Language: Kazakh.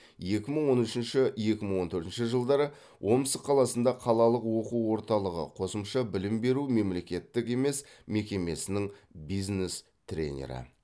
екі мың он үшінші екі мың он төртінші жылдары омск қаласында қалалық оқу орталығы қосымша білім беру мемлекеттік емес мекемесінің бизнес тренері